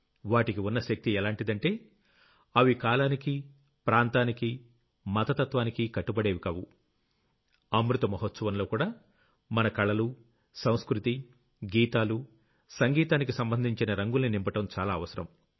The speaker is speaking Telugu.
వాటికి ఉన్న శక్తి ఎలాంటిదంటే అవి కాలానికి ప్రాంతానికి మత తత్వానికీ కట్టుబడేవికావు అమృత మహోత్సవంలోకూడా మన కళలు సంస్కృతి గీతాలు సంగీతానికి సంబంధించిన రంగుల్ని నింపడం చాలా అవసరం